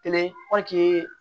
Kelen